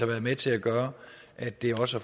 været med til at gøre at det også